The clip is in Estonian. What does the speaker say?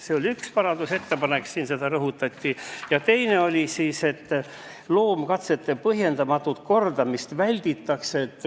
See oli üks parandusettepanek, mida rõhutati, ja teine oli see, et tuleb vältida loomkatsete põhjendamatut kordamist.